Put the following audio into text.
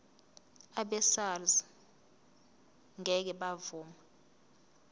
abesars ngeke bavuma